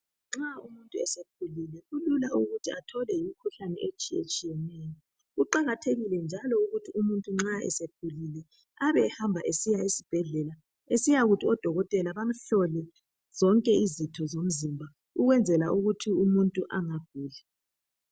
Nxa umuntu esekhulile kulula ukuthi atholwe yimikhuhlane etshiyetshiyeneyo . Kuqakathekile njalo ukuthi nxa esekhulile Abe ehamba esiya esibhedlela. Esiyakuthi odokotela bamuhlole zonke izitho somzimba .Ukwenzela ukuthi umuntu angaguli.